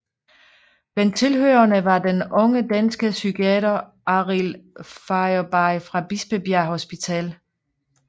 Blandt tilhørerne var den unge danske psykiater Arild Fauerbye fra Bispebjerg Hospital